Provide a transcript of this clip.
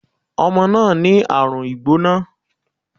Omo náà ní àrùn ìgbóná